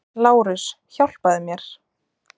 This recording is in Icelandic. LÁRUS: Hjálpaðu mér!